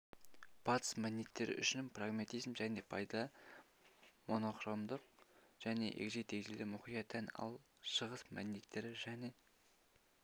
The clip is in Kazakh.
батыс мәдениеттері үшін прагматизм және пайда монохромдық және егжей-тегжейге мұқия тән ал шығыс мәдениеттері және